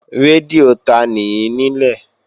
Rédíò tanì í nílẹ̀?